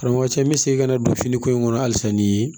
Karamɔgɔcɛ n bɛ segin ka na don finiko in kɔnɔ halisa ni ye